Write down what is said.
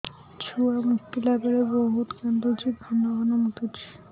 ଛୁଆ ମୁତିଲା ବେଳେ ବହୁତ କାନ୍ଦୁଛି ଘନ ଘନ ମୁତୁଛି